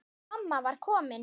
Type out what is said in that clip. Mamma var komin.